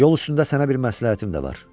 Yol üstündə sənə bir məsləhətim də var.